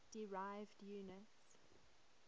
derived units